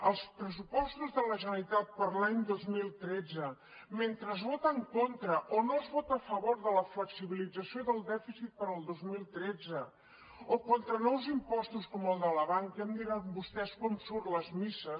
als pressupostos de la generalitat per a l’any dos mil tretze mentre es vota en contra o no es vota a favor de la flexibilització del dèficit per al dos mil tretze o contra nous impostos com els de la banca ja em dirà vostè com surten les misses